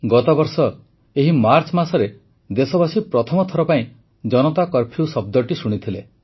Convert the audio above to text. ଗତବର୍ଷ ଏହି ମାର୍ଚ୍ଚ ମାସରେ ଦେଶବାସୀ ପ୍ରଥମ ଥର ପାଇଁ ଜନତା କର୍ଫ୍ୟୁ ଶବ୍ଦଟି ଶୁଣିଥିଲେ